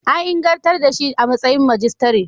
An ingantar da shi ga matsayin majistare.